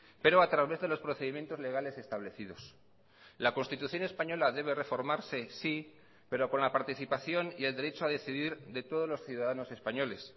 pero a través de los procedimientos legales establecidos la constitución española debe reformarse sí pero con la participación y el derecho a decidir de todos los ciudadanos españoles